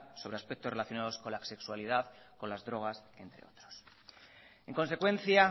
sobre aspectos relacionados con la sexualidad con las drogas entre otros en consecuencia